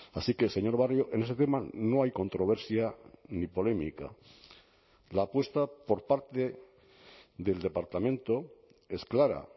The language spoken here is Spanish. así que señor barrio en ese tema no hay controversia ni polémica la apuesta por parte del departamento es clara